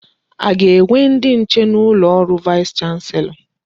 A ga-enwe ndi nche n'ụlọ ọrụ vaịs chanselọ?